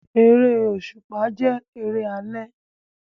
Eré òṣùpá jẹ́ eré alẹ́